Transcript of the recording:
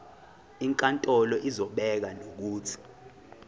inkantolo izobeka nokuthi